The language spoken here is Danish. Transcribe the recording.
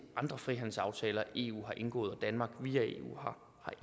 andre frihandelsaftaler eu har indgået og danmark via eu